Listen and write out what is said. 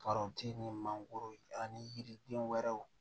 ni mangoro ani yiriden wɛrɛw